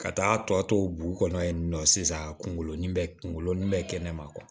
Ka taa tɔ bu kɔnɔ yen nɔ sisan kungolo bɛ kungolo nin bɛ kɛnɛma